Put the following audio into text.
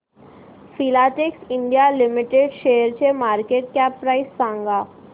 Filatex India limited शेअरची market cap price सांगा